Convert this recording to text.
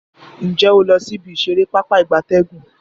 Nje o lo si ibi isere Pápá ìgbatẹ́gùn?